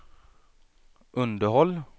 underhåll